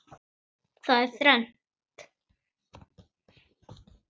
Það er þrennt.